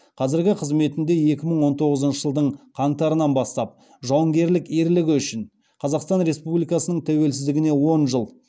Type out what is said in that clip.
қазіргі қызметінде екі мың он тоғызыншы жылдың қаңтарынан бастап жауынгерлік ерлігі үшін қазақстан республикасының тәуелсіздігіне он жыл